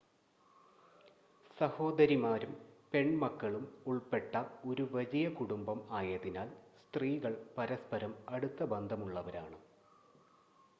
സഹോദരിമാരും പെൺമക്കളും ഉൾപ്പെട്ട ഒരു വലിയ കുടുംബം ആയതിനാൽ സ്ത്രീകൾ പരസ്‌പരം അടുത്ത ബന്ധമുള്ളവരാണ്